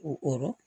O kɔrɔ